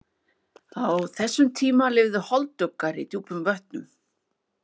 Á þessum tíma lifðu holduggar í djúpum vötnum.